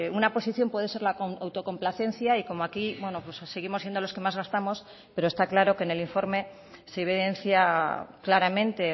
una posición puede ser la autocomplacencia y como aquí bueno pues seguimos siendo los que más gastamos pero está claro que en el informe se evidencia claramente